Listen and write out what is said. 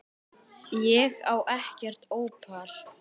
Ég elska þig, vinur minn.